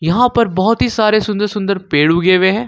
यहां पर बहुत ही सारे सुन्दर सुन्दर पेड़ उगे हुए हैं।